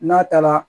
N'a taara